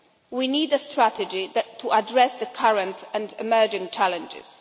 We need a strategy to address the current and emerging challenges.